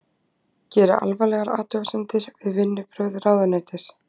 Gera alvarlegar athugasemdir við vinnubrögð ráðuneytis